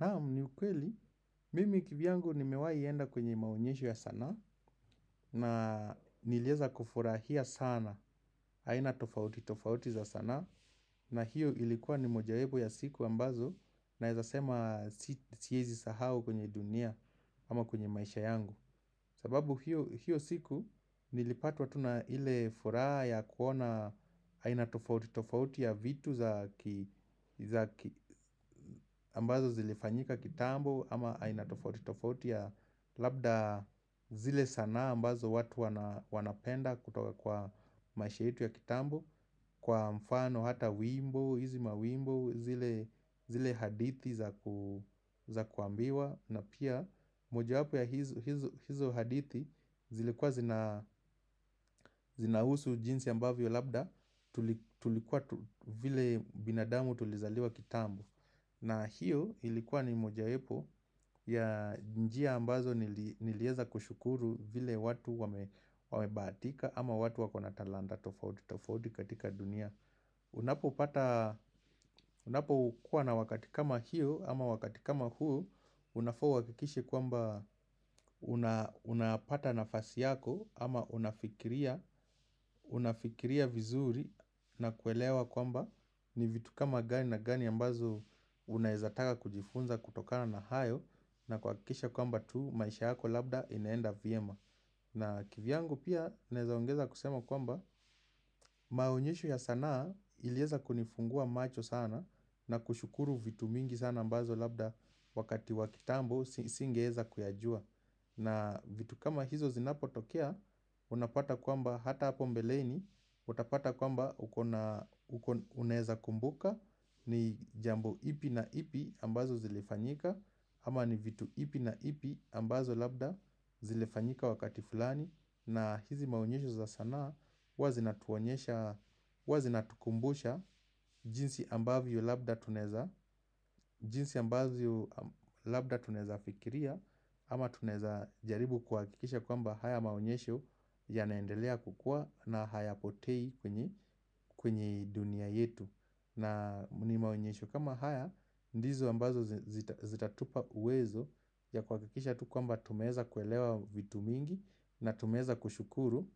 Naam ni ukweli, mimi kivyangu nimewai enda kwenye maonyesho ya sanaa na nilieza kufurahia sana, aina tofauti tofauti za sanaa na hiyo ilikuwa ni mojawepo ya siku ambazo naezasema siyezi sahau kwenye dunia ama kwenye maisha yangu. Sababu hiyo siku nilipatwa tu ile furaha ya kuona aina tofauti tofauti ya vitu za ambazo zilifanyika kitambo ama aina tofauti tofauti ya labda zile sanaa ambazo watu wanapenda kutoka kwa maisha yetu ya kitambo Kwa mfano hata wimbo, hizi mawimbo, zile hadithi za kuambiwa na pia moja wapo ya hizo hadithi zilikuwa zinahusu jinsi ambavyo labda tulikuwa tu vile binadamu tulizaliwa kitambo na hiyo ilikuwa ni moja wapo ya njia ambazo nilieza kushukuru vile watu wamebahatika ama watu wakona talanda tofauti tofauti katika dunia unapopata Unapo kuwa na wakati kama hiyo ama wakati kama huo Unafaa uakikishe kwamba unapata nafasi yako ama unafikiria vizuri na kuelewa kwamba ni vitu kama gani na gani ambazo unaezataka kujifunza kutokana na hayo na kuakikikisha kwamba tu maisha yako labda inaenda vyema. Na kivyangu pia naeza ongeza kusema kwamba maonyeshu ya sanaa ilieza kunifungua macho sana na kushukuru vitu mingi sana ambazo labda wakati wa kitambo singeeza kuyajua. Na vitu kama hizo zinapotokea, unapata kwamba hata hapo mbeleini, utapata kwamba uneza kumbuka ni jambo ipi na ipi ambazo zilifanyika ama ni vitu ipi na ipi ambazo labda zilifanyika wakati fulani na hizi maunyesho za sanaa huwa zinatuonyesha huwa zinatukumbusha jinsi ambavyo labda tunaeza jinsi ambavyo labda tunaeza fikiria ama tunaeza jaribu kuhakikisha kwamba haya maunyesho yanaendelea kukua na hayapotei kwenye dunia yetu na nimaunyesho kama haya, ndizo ambazo zitatupa uwezo ya kuakikikisha tu kwamba tunaeza kuelewa vitu mingi na tumeza kushukuru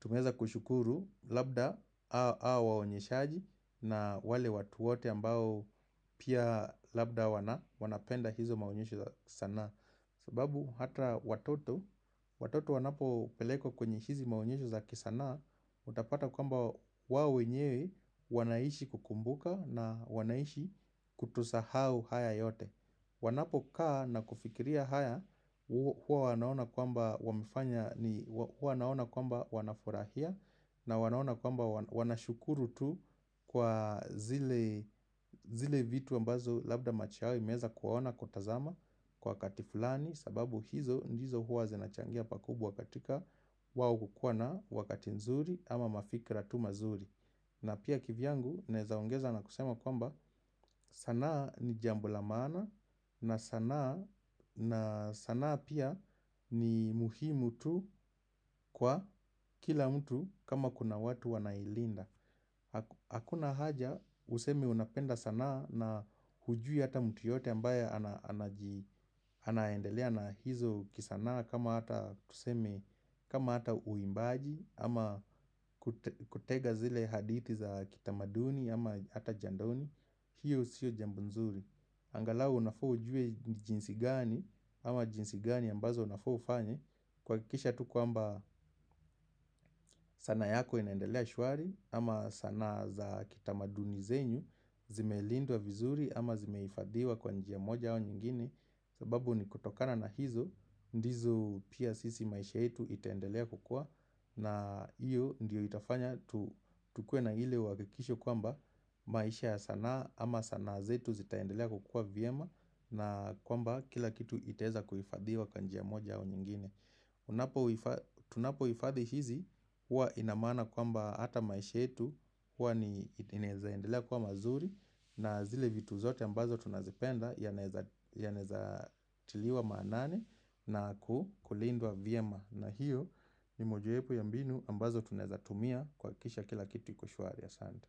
Tumeza kushukuru labda hao waonyeshaji na wale watu wote ambao pia labda wanapenda hizo maunyesho za kisanaa sababu ata watoto, watoto wanapo pelekwa kwenye hizi maonyesho za kisanaa Utapata kwamba wao wenyewe wanaishi kukumbuka na wanaishi kutosahau haya yote wanapo kaa na kufikiria haya, huwa wanaona kwamba wanafurahia na wanaona kwamba wanashukuru tu kwa zile vitu ambazo labda maisha yao imeweza kuwaona kutazama kwa wakati fulani sababu hizo ndizo huwa zinachangia pakubwa katika wao kukua na wakati nzuri ama mafikra tu mazuri na pia kivyangu naeza ongeza na kusema kwamba sanaa ni jambo la maana na sanaa pia ni muhimu tu kwa kila mtu kama kuna watu wanailinda. Hakuna haja, useme unapenda sanaa na hujui hata mtu yote ambaye anaendelea na hizo kisanaa kama ata tuseme kama hata uimbaji, ama kutega zile hadithi za kitamaduni, ama hata jandoni hiyo sio jambo nzuri angalau unafaa ujue jinsi gani, ama jinsi gani ambazo unafaa ufanye kuakikisha tu kwamba sanaa yako inaendelea shuari ama sanaa za kitamaduni zenyu Zimelindwa vizuri ama zimeifadhiwa kwa njia moja au nyingine sababu ni kutokana na hizo ndizo pia sisi maisha yetu itaendelea kukua na iyo ndio itafanya tukue na ile uhakikisho kwamba maisha ya sanaa ama sanaa zetu zitaendelea kukua vyema na kwamba kila kitu kitaeza kuifadhiwa kwa njia moja au nyingine unapo Tunapo ifadhi hizi huwa ina maana kwamba ata maisha yetu uwa inezaendelea kuwa mazuri na zile vitu zote ambazo tunazipenda yanaeza tiliwa maanani na kulindwa vyema na hiyo ni mojawepo ya mbinu ambazo tunaezatumia kuakikisha kila kitu iko shwari asante.